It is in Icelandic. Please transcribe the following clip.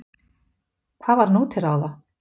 Hvað var nú til ráða?